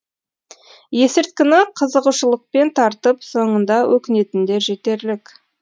есірткіні қызығушылықпен тартып соңында өкінетіндер жетерлік